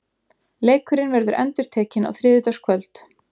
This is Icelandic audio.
Leikurinn verður endurtekinn á þriðjudagskvöld.